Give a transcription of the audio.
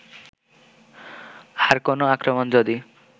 আর কোন আক্রমণ যদি